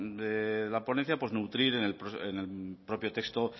de la ponencia pues nutrir en el propio texto